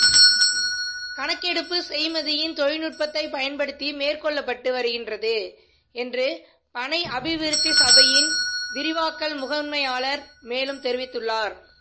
கணக்கெடுப்பு செய்மதியின் தொழில்நுட்பத்தைப் பயன்படுத்தி மேற்கொள்ளப்பட்டு வருகின்றது என்று பனை அபிவிருத்தி சபையின் விரிவாக்கல் முகாமையாளர் மேலும் தெரிவித்துள்ளார்